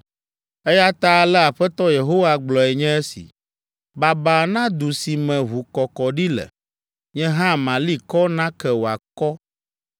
“Eya ta ale Aƒetɔ Yehowa gblɔe nye si, “Babaa na du si me ʋukɔkɔɖi le. Nye hã mali kɔ nake wòakɔ.